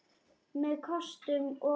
Með kostum og göllum.